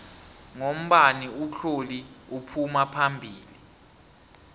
ngombani utloli uphuma phambili